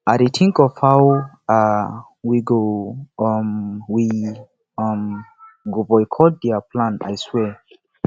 i dey think of how um we how um we um go boycott their plan i swear